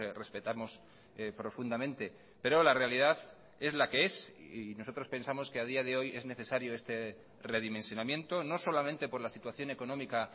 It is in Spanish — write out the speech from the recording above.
respetamos profundamente pero la realidad es la que es y nosotros pensamos que a día de hoy es necesario este redimensionamiento no solamente por la situación económica